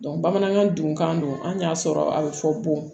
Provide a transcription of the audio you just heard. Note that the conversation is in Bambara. bamanankan dunkan don an y'a sɔrɔ a bɛ fɔ bon